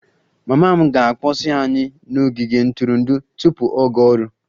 Mama m ga-akpọsi anyị n'ogige ntụrụndụ tupu ọ gaa ọrụ